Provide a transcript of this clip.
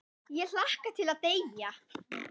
Ég hlakka til að deyja.